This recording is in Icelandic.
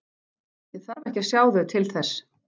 Ég þarf ekki að sjá þau til þess.